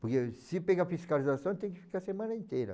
Porque se pegar fiscalização, eu tenho que ficar a semana inteira.